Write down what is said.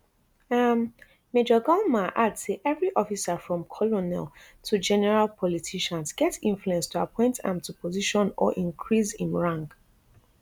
um major galma add say evri officer from colonel to general politicians get influence to appoint am to position or increase im rank